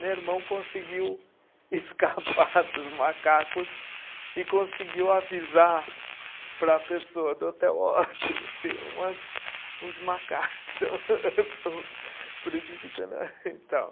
Meu irmão conseguiu escapar dos macacos e conseguiu avisar para a pessoa do hotel, ó tem tem umas, uns macacos prejudicando.